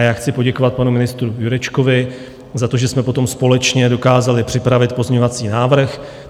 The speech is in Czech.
A já chci poděkovat panu ministru Jurečkovi za to, že jsme potom společně dokázali připravit pozměňovací návrh.